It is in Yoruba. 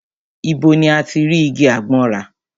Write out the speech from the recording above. Ibo ni a ti rí igi àgbọn rà?